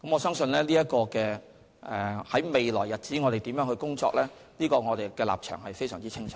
對於在未來的日子要如何工作，我相信我們的立場非常清楚。